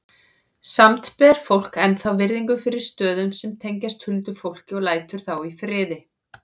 Samt ber fólk ennþá virðingu fyrir stöðum sem tengjast huldufólki og lætur þá í friði.